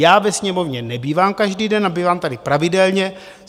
Já ve Sněmovně nebývám každý den, a bývám tady pravidelně.